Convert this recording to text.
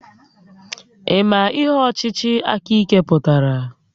Ị ma ihe ọchịchị aka ike pụtara?